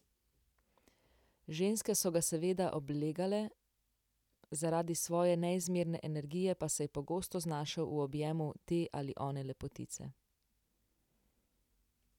Ženske so ga seveda oblegale, zaradi svoje neizmerne energije pa se je pogosto znašel v objemu te ali one lepotice.